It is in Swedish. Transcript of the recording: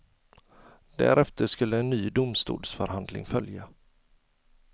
Därefter skulle en ny domstolsförhandling följa.